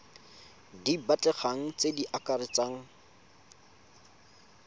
di batlegang tse di akaretsang